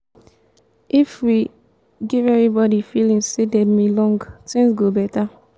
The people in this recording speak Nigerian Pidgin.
if we give everybody feeling say dem belong things go beta.